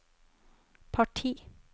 parti